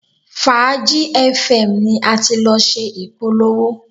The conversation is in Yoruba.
Fàájì fm ni a ti lọ ṣe ìpolówó